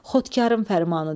Xodkarın fərmanıdır.